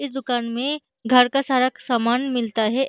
इस दुकान में घर का सारा क्-सामान मिलता है।